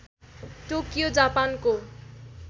Tokyo जापानको